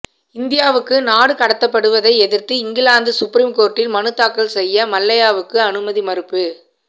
இந்தியாவுக்கு நாடு கடத்தப்படுவதை எதிர்த்து இங்கிலாந்து சுப்ரீம்கோர்ட்டில் மனுதாக்கல் செய்ய மல்லையாவுக்கு அனுமதி மறுப்பு